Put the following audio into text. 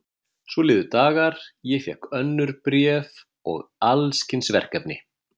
Svo liðu dagar, ég fékk önnur bréf og alls kyns verkefni.